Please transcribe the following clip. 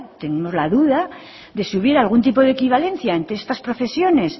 tenemos la duda de si hubiera algún tipo de equivalencia ante estas profesiones